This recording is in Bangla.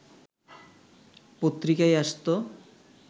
পত্রিকাই আসত